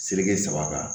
Seleke saba kan